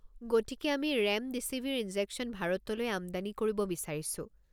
গতিকে আমি ৰেমডিছিভিৰ ইনজেকশ্যন ভাৰতলৈ আমদানি কৰিব বিচাৰিছো।